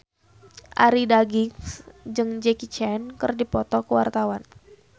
Arie Daginks jeung Jackie Chan keur dipoto ku wartawan